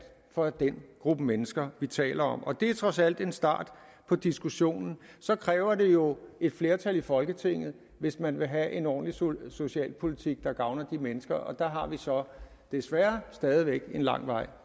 for den gruppe af mennesker vi taler om det er trods alt en start på diskussionen så kræver det jo et flertal i folketinget hvis man vil have en ordentlig socialpolitik der gavner de mennesker og der har vi så desværre stadig væk en lang vej